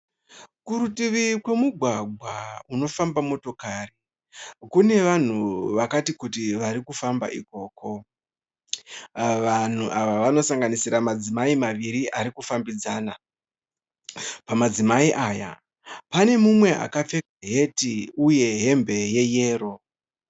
Kurutivi kwemigwagwa unofamba motokari. Kune vanhu vakati kuti varikufamba ikoko. Vanhu ava vanosanganisira madzimai maviri arikufambidzana. Pamadzimai aya pane mumwe akapfeka heti uye hembe yeyero.